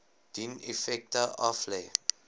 dien effekte aflê